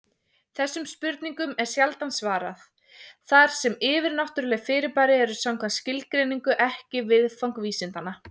Þessum spurningum er sjaldan svarað, þar sem yfirnáttúruleg fyrirbæri eru samkvæmt skilgreiningu ekki viðfang vísindanna.